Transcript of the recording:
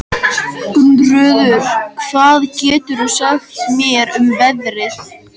Gunnröður, hvað geturðu sagt mér um veðrið?